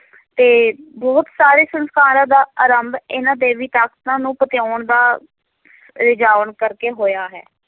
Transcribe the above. ਤੇ ਬਹੁਤ ਸਾਰੇ ਸੰਸਕਾਰਾਂ ਦਾ ਆਰੰਭ ਇਹਨਾਂ ਦੇਵੀ ਤਾਕਤਾਂ ਨੂੰ ਪਤਿਆਉਣ ਦਾ ਰੀਝਾਉਣ ਕਰਕੇ ਹੋਇਆ ਹੈ।